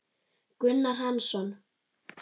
Gunnar Hansson